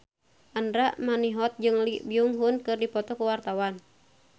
Andra Manihot jeung Lee Byung Hun keur dipoto ku wartawan